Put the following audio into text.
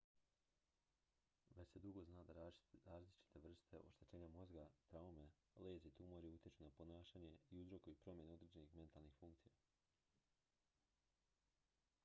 već se dugo zna da različite vrste oštećenja mozga traume lezije i tumori utječu na ponašanje i uzrokuju promjene određenih mentalnih funkcija